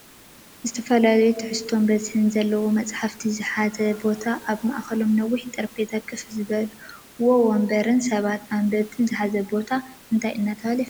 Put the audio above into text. ዝተፈላለዩ ትሕዝቶታትን በዝሕን ዘለዎም መፅሓፍቲ ዝሓዘ ቦታንኣብ ማእከሎም ነዊሕ ጠረጴዛን ከፍ ዝበልዎ ወንበርን ሰባት ኣንበቢትን ዝሓዘ ቦታ እንታይ እናተባህለ ይፍለጥ?